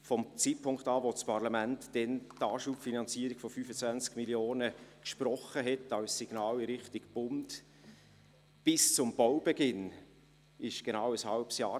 Ab dem Zeitpunkt, als das Parlament damals die Anschubfinanzierung von 25 Mio. Franken als Signal in Richtung Bund gesprochen hatte, bis zum Baubeginn verstrich genau ein halbes Jahr.